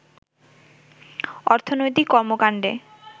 অর্থনৈতিক কর্মকণ্ডে